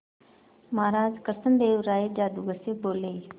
महाराज कृष्णदेव राय जादूगर से बोले